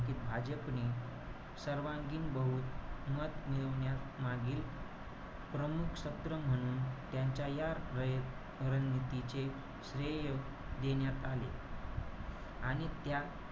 निवडणुकीत भाजपने सर्वांगीण बहुमत मिळवण्यास मागील प्रमुख सत्र म्हणून त्यांच्या या रयत~ रणनीतीचे श्रेय देण्यात आले. आणि त्या,